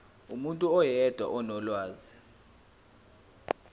umuntu oyedwa onolwazi